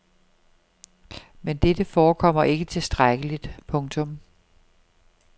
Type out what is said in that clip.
Men dette forekommer ikke tilstrækkeligt. punktum